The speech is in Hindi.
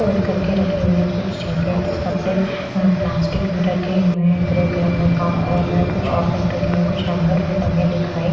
फोल्ड करके रखे हुए हैं कुछ जैकेट्स कपड़े प्लास्टिक में रखे हुए हैं ग्रे कलर में ब्राउन कलर में और कुछ ओपन रखे हुए हैं कुछ हैंगर में टंगे दिखाएं--